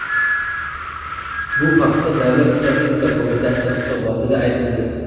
Bu haqda Davlat statistika qo‘mitasi hisobotida aytildi .